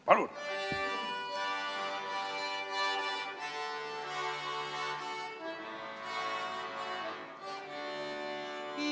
Palun!